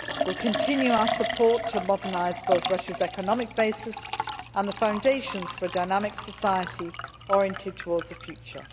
We will continue our support for modernising both Russia's economic basis and the foundations for a dynamic society oriented towards the future.